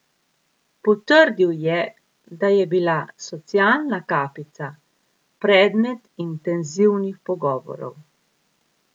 Potrdil je, da je bila socialna kapica predmet intenzivnih pogovorov.